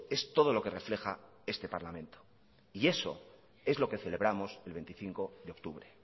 es todo lo que refleja este parlamento y eso es lo que celebramos el veinticinco de octubre